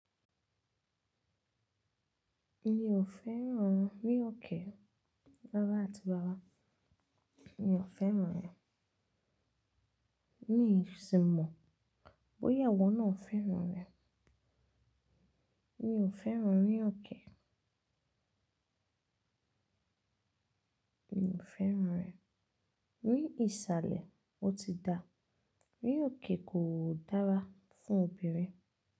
Mi ò fẹ́ràn rí òkè, rara àti ràrà. Mi ò fẹ́ràn rẹ̀. Mí sì mọ̀, bóyá ìwọ náà fẹ́ràn rẹ̀. Mi ò fẹ́ràn rí òkè. Mi ò fẹ́ràn rẹ̀. Ní ìsàlẹ̀, ó ti dáa. Rí òkè kò dára fún obìnrin.